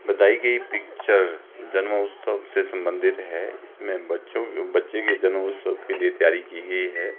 बताई गई पिक्चर जन्मोत्सव से संबंधित है इसमें बच्चों बच्चे के जन्मोत्सव के लिए तैयारी की गई है।